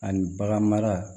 Ani bagan mara